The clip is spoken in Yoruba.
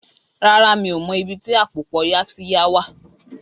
Rárá, mi ò mọ ibi tí àpòpọ̀ Yaxiya wà